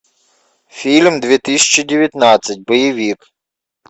фильм две тысячи девятнадцать боевик